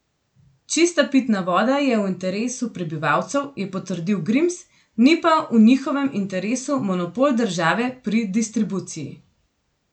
Čista pitna voda je v interesu prebivalcev, je potrdil Grims, ni pa v njihovem interesu monopol države pri distribuciji.